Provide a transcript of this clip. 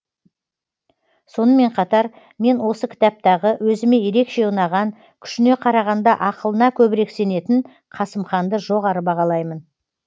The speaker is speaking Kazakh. сонымен қатар мен осы кітаптағы өзіме ерекше ұнаған күшіне қарағанда ақылына көбірек сенетін қасым ханды жоғары бағалаймын